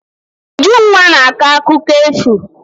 Ujunwa na-akọ akụkọ efu.